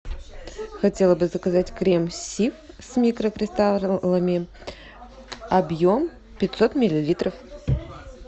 хотела бы заказать крем сиф с микрокристаллами объем пятьсот миллилитров